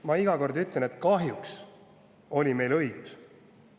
Ma iga kord ütlen, et kahjuks oli meil õigus.